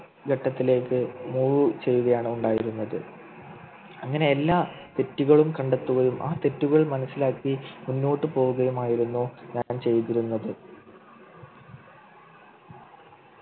ഘട്ടത്തിലേക്ക് move ചെയ്യുകയാണ് ഉണ്ടായിരുന്നത് അങ്ങനെ എല്ലാ തെറ്റുകളും കണ്ടെത്തുകയും ആ തെറ്റുകൾ മനസ്സിലാക്കി മുന്നോട്ടു പോവുകയുമായിരുന്നു ഞാൻ ചെയ്തിരുന്നത്